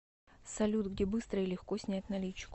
салют где быстро и легко снять наличку